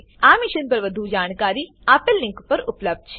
આ મિશન પર વધુ જાણકારી આપેલ લીંક પર ઉપબ્ધ છે